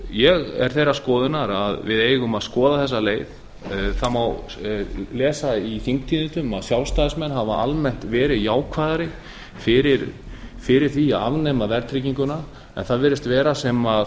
ég er þeirrar skoðunar að við eigum að skoða þessa leið það má lesa í þingtíðindum að sjálfstæðismenn hafa almennt verið jákvæðari fyrir því að afnema verðtrygginguna en það virðist vera sem